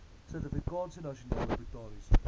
suidafrikaanse nasionale botaniese